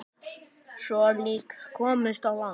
Sjö lík komust á land.